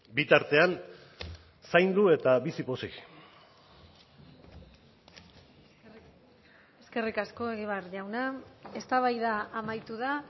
bitartean zaindu eta bizi pozik eskerrik asko egibar jauna eztabaida amaitu da